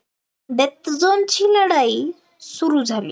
death zone ची लढाई सुरु झाली